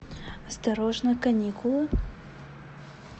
осторожно каникулы